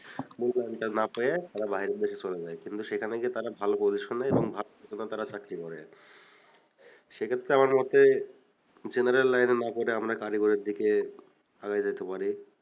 মূল্যায়নটা না পেয়ে তারা বাইরের দেশে চলে যায় কিন্তু সেখানে গিয়ে তারা ভালো position নেয় এবং ভালো বেতনে তারা চাকরি করে সেক্ষেত্রে আমার মতে general line এ না পড়ে আমরা কারিগরির দিকে আগে যেতে পারি